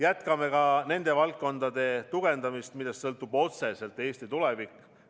Jätkame ka nende valdkondade tugevdamist, millest sõltub otseselt Eesti tulevik.